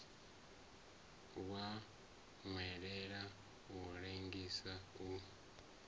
wa nwelela u lengisa u